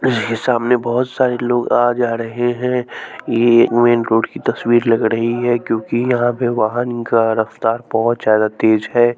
इसके सामने बहुत सारे लोग आ जा रहे हैं ये मेन रोड की तस्वीर लग रही है क्योंकि यहाँ पे वाहन का रफ्तार बहुत ज्यादा तेज है।